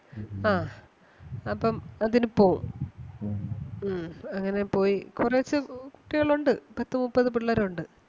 ആ അപ്പം അതിന് പോവും. ഉം അങ്ങനെ പോയി കുറച്ച് കുട്ടികളൊണ്ട് പത്ത് മുപ്പത് പിള്ളേരൊണ്ട്.